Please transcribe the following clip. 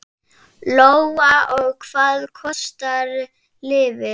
Lóa: Og hvað kostar lyfið?